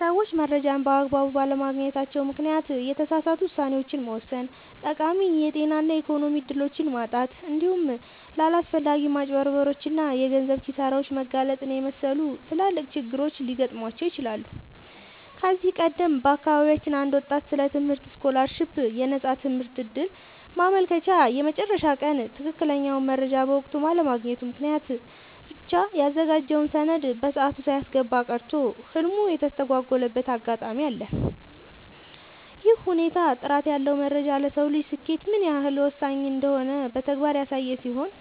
ሰዎች መረጃን በአግባቡ ባለማግኘታቸው ምክንያት የተሳሳቱ ውሳኔዎችን መወሰን፣ ጠቃሚ የጤና እና የኢኮኖሚ እድሎችን ማጣት፣ እንዲሁም ለአላስፈላጊ ማጭበርበሮች እና የገንዘብ ኪሳራዎች መጋለጥን የመሰሉ ትላልቅ ችግሮች ሊገጥሟቸው ይችላሉ። ከዚህ ቀደም በአካባቢያችን አንድ ወጣት ስለ ትምህርት ስኮላርሺፕ (የነፃ ትምህርት ዕድል) ማመልከቻ የመጨረሻ ቀን ትክክለኛውን መረጃ በወቅቱ ባለማግኘቱ ምክንያት ብቻ ያዘጋጀውን ሰነድ በሰዓቱ ሳያስገባ ቀርቶ ህልሙ የተስተጓጎለበት አጋጣሚ አለ። ይህ ሁኔታ ጥራት ያለው መረጃ ለሰው ልጅ ስኬት ምን ያህል ወሳኝ እንደሆነ በተግባር ያሳየ ሲሆን፣